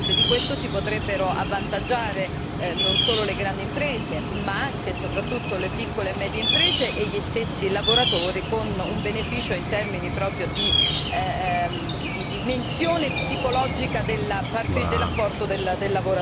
Di questo si potrebbero avvantaggiare non solo le grandi imprese, ma anche e soprattutto le piccole e medie imprese e gli stessi lavoratori, con un beneficio in termini di dimensione psicologica dell'apporto del lavoratore.